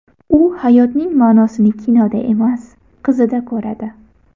U hayotining ma’nosini kinoda emas, qizida ko‘radi.